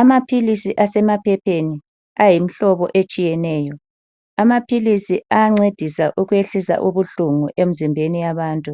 Amaphilisi asemaphepheni ayimhlobo etshiyeneyo. Amaphilisi ayancedisa ukwehlisa ubuhlungu emzimbeni yabantu.